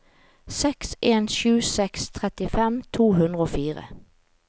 seks en sju seks trettifem to hundre og fire